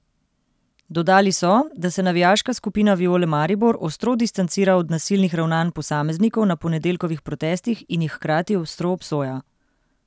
Dodali so, da se navijaška skupina Viole Maribor ostro distancira od nasilnih ravnanj posameznikov na ponedeljkovih protestih in jih hkrati ostro obsoja.